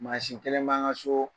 Masin kelen b'an ŋa so.